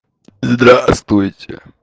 здравствуйте